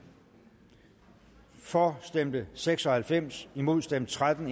for stemte seks og halvfems imod stemte tretten